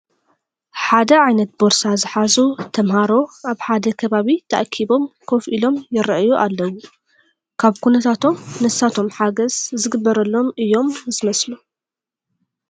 ሓደ ዓይነት ቦርሳ ዝሓዙ ተመሃሮ ኣብ ሓደ ከባቢ ተኣኪቦም ኮፍ ኢሎም ይርአዩ ኣለዉ፡፡ ካብ ኩነታቶም ንሳቶም ሓገዝ ዝግበረሎም እዮም ዝመስሉ፡፡